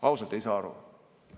Ausalt ei saa aru.